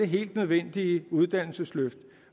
helt nødvendige uddannelsesløft